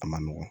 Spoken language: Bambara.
A ma nɔgɔn